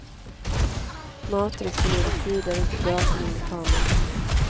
Mat, dryck och ledig tid är inte bra för min lekamen.